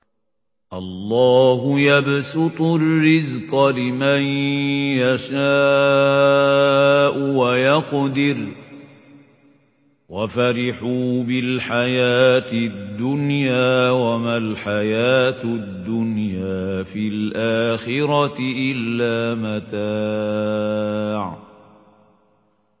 اللَّهُ يَبْسُطُ الرِّزْقَ لِمَن يَشَاءُ وَيَقْدِرُ ۚ وَفَرِحُوا بِالْحَيَاةِ الدُّنْيَا وَمَا الْحَيَاةُ الدُّنْيَا فِي الْآخِرَةِ إِلَّا مَتَاعٌ